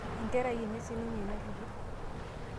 enkerai enye sininye ina tito